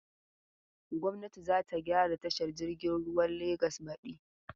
Gwamnati za ta gyara tashar jiagen ruwan Legas badi.